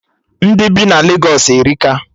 Ndị bi na Legos erika